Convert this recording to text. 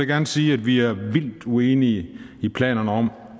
gerne sige at vi er vildt uenige i planerne om